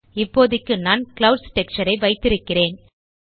இப்போதைக்கு நான் clouds texture ஐ வைத்திருக்கிறேன்